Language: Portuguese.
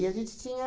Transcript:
a gente tinha...